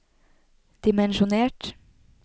dimensjonert